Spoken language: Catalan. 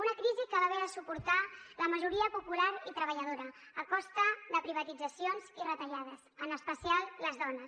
una crisi que va haver de suportar la majoria popular i treballadora a costa de privatitzacions i retallades en especial les dones